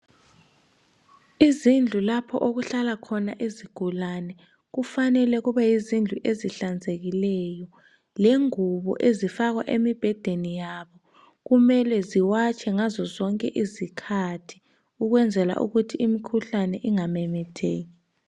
Izindlu lapho okuhlala khona izigulane kufanele kube yizindlu ezihlanzekileyo lengubo ezifakwa emibhedeni yabo kumele ziwatshwe ngazo zonke izikhathi ukwenzela ukuthi imikhuhlane ingamemetheki.